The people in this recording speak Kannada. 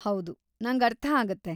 ಹೌದು, ನಂಗರ್ಥ ಆಗತ್ತೆ.